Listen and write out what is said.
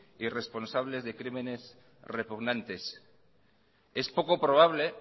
y responsables de crímenes repugnantes es poco probable